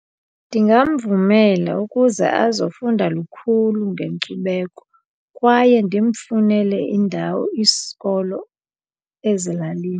Ndingamvumela ukuze azofunda lukhulu ngenkcubeko kwaye ndimfunele indawo isikolo ezilalini.